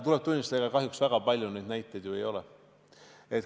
Tuleb tunnistada, et kahjuks väga palju neid näiteid ei ole.